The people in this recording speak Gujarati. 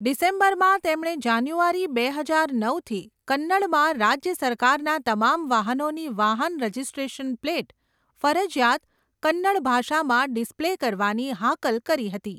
ડિસેમ્બરમાં, તેમણે જાન્યુઆરી બે હજાર નવથી કન્નડમાં રાજ્ય સરકારના તમામ વાહનોની વાહન રજિસ્ટ્રેશન પ્લેટ ફરજિયાત કન્નડ ભાષામાં ડિસ્પ્લે કરવાની હાકલ કરી હતી.